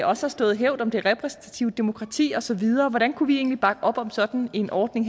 også har stået vagt om det repræsentative demokrati og så videre hvordan kunne vi egentlig bakke op om sådan en ordning